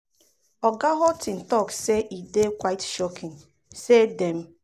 oga houghton um tok say e dey "quite shocking" say dem